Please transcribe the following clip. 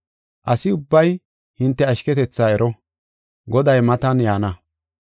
Asi ubbay hinte ashketetha ero; Goday matan yaana.